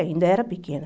Ainda era pequena.